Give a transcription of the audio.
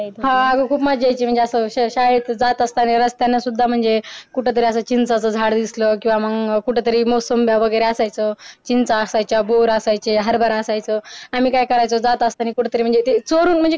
हा खूप मज्जा यायची शाळेतून जात असताना रस्त्यानी सुध्दा म्हणजे कुठंतरी चिंचेचं झाड दिसलं किव्हा मंग कुठंतरी मोसंब्या वगैरे असायचं चिंचा असायचं बोर असायचं हरबरा असायचं आम्ही काय करायचं जात असतानी कुठंतरी म्हणजे ते चोरून म्हणजे काय